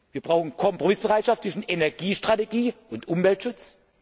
Wir brauchen Kompromissbereitschaft zwischen Energiestrategie und Umweltschutz.